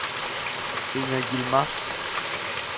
Inger Yilmaz